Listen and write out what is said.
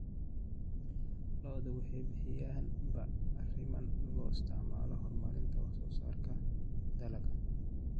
Lo'du waxay bixiyaan bacrimin loo isticmaalo horumarinta wax soo saarka dalagga.